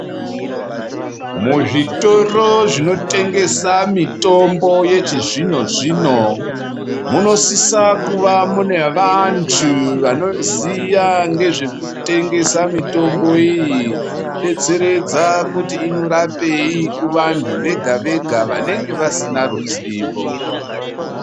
Muzvitoro zvinotengesa mutombo yechizvinozvino munosisa kuva mune vantu vanoziya ngezvekutengesa mutombo iyi ngekubetseredza kuti inorapei kuvantu vega vega vanenge vasina ruzivo .